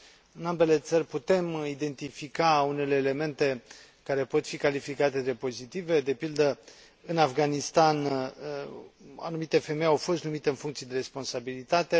în ambele țări putem identifica unele elemente care pot fi calificate drept pozitive de pildă, în Afganistan, anumite femei au fost numite în funcții de responsabilitate